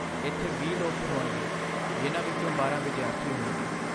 ਇੱਥੇ ਵੀਹ ਲੋਕ ਹੋਣਗੇ, ਜਿਨ੍ਹਾਂ ਵਿੱਚੋਂ ਬਾਰਾਂ ਵਿਦਿਆਰਥੀ ਹੋਣਗੇ।